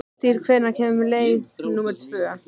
Hrafntýr, hvenær kemur leið númer tvö?